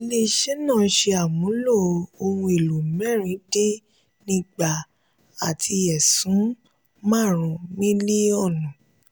ile-iṣẹ́ náà ṣe ìmúlò ohun èlò mẹ́rin dín ni igba àti ẹ̀sún marun milionu.